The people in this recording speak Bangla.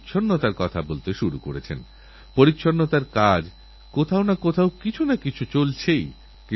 আমি যখন তাঁদের সঙ্গে কথা বলছিলাম তাঁদের বন্দীজীবনেরঅভিজ্ঞতার কথা শুনছিলাম তাঁদের কথার মধ্যে কোনওরকম কটুতা বা বিরূপতা ছিল না